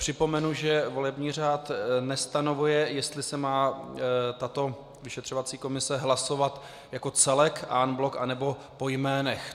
Připomenu, že volební řád nestanovuje, jestli se má tato vyšetřovací komise hlasovat jako celek en bloc, anebo po jménech.